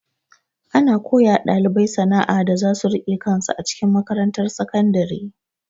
Ana koyawa ɗalibai sana'a da zasu rike kansu a cikin makarantar sakandare.